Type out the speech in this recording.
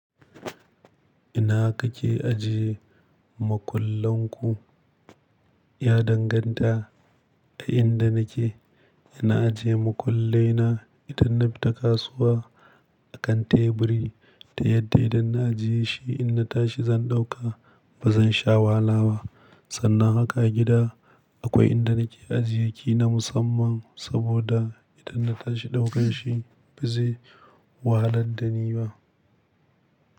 Ina kake ajiye makullan ku? Ya danganta a inda nake. Ina ajiye makullai na idan na fita kasuwa a kan teburi ta yadda idan na ajiye shi in na tashi zan ɗauka ba zan sha wahala ba. Sannan haka a gida akwai inda nake ajiye ki na musamman saboda idan na tashi daukan shi ba zai wahalar da ni ba.